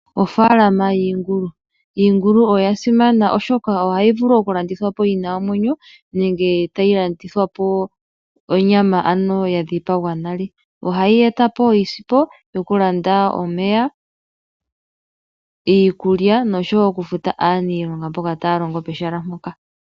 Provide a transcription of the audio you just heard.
Ofaalama yiingulu. Iingulu oya simana oshoka ohayi vulu okulandithwa po yi na omwenyo nenge tayi landithwa po onyama, ano ya dhipagwa nale. Ohayi eta po iisimpo yokulanda omeya, iikulya nosho wo okufuta aaniilonga mboka taya longo pehala mpoka.